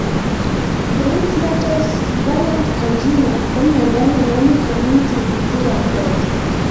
Prinzmetals' variant angina ko miondo ne namin amu tigitik ab karatik